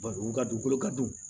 Bari u ka dugukolo ka jugu